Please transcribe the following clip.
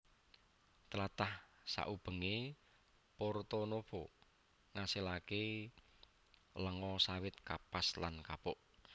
Tlatah saubengé Porto Novo ngasilaké lenga sawit kapas lan kapuk